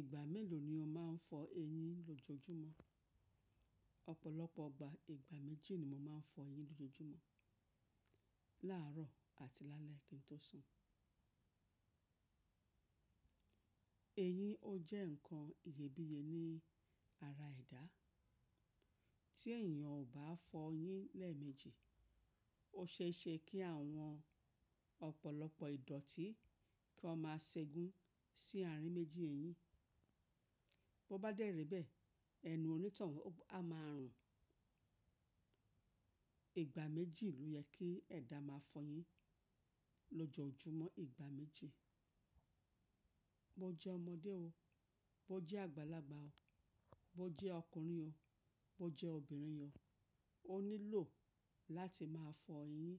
Ìgbà mélòó ni o máa ń fọ eyín lójojúmọ́? Ọ̀pọ̀lọpọ̀ ọgbà ìgbà méjì ni mo máa ń fọ eyín lójojúmọ́, láàárọ̀ àti lálẹ́ kí n tó sùn. Eyín ó jẹ́ ǹkan iyebíye ní ara ẹ̀dá, tí èèyàn ò bá fọ eyín lẹ́ẹ̀mejì, ó ṣe é ṣe kí àwọn ọ̀pọ̀lọpọ̀ ìdọ̀tí kí wọ́n máa ṣẹ́gun sí àárín méjì eyín, bó bá dẹ́ rí bẹ́ẹ̀ ẹnu onítàn wọn a máa rùn. Ìgbà méjì ló yẹ kí ẹ̀dá máa fọ eyín lójojúmọ́ ìgbà méjì. Bo jẹ́ ọmọdé o, bo jẹ́ àgbàlagbà o, bo jẹ́ ọkùnrin o, bo jẹ́ obìnrin o, o nílò láti máa fọ eyín